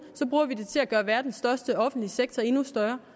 så bruger vi den til at gøre verdens største offentlige sektor endnu større